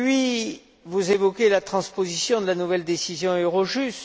Et puis, vous évoquez la transposition de la nouvelle décision Eurojust.